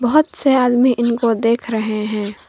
बहुत से आदमी इनको देख रहे हैं।